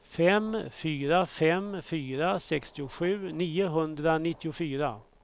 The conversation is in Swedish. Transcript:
fem fyra fem fyra sextiosju niohundranittiofyra